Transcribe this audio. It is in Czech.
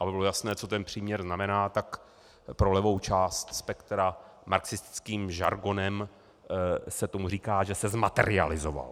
Aby bylo jasné, co ten příměr znamená, tak pro levou část spektra - marxistickým žargonem se tomu říká, že se zmaterializoval.